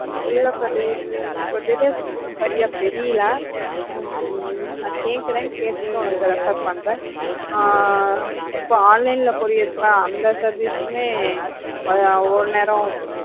இல்ல கதிர் எனக்கு details சரியா தெரியல உம் நான் கேட்கிறேன் கேட்டுட்டு உனக்கு refer பண்ற ஆஹ் இப்ப online ல courier அந்த service உமே ஒரு நேரம்